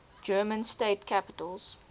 german state capitals